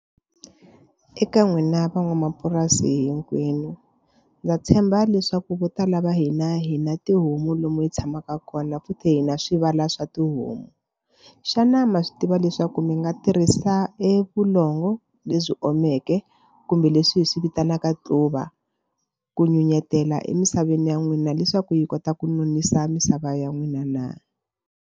Eka n'wina van'wamapurasi hinkwenu ndza tshemba leswaku vo tala va hina hina tihomu lomu hi tshamaka kona futhi hi na swivala swa tihomu. Xana ma swi tiva leswaku mi nga tirhisa evulongo lebyi omeke kumbe leswi hi swi vitanaka tluva ku nyunyutela emisaveni ya n'wina leswaku yi kota ku nonisa misava ya n'wina na.